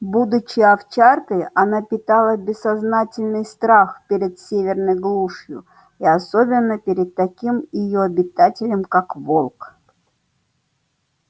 будучи овчаркой она питала бессознательный страх перед северной глушью и особенно перед таким её обитателем как волк